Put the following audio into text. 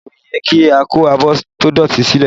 Rárá, kò yẹ kí a kó abọ́ tó dọ̀tí sílẹ̀